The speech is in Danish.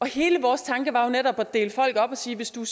hele vores tanke var jo netop at dele folk op og sige hvis du